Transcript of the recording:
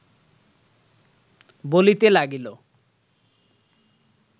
বলিতে লাগিল